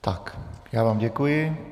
Tak, já vám děkuji.